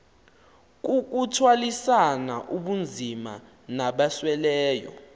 kukuthwalisana ubunzima nabasweleyo